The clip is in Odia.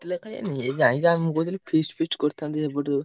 ଏଇ ଯାଇଥାନ୍ତି ମୁଁ କହୁଥିଲି feast feast କରିଥାନ୍ତେ ଟିକେ।